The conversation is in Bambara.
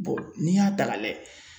n'i y'a ta ka lajɛ